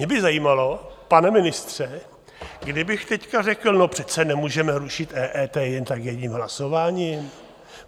Mě by zajímalo, pane ministře, kdybych teď řekl: No přece nemůžeme rušit EET jen tak jedním hlasováním.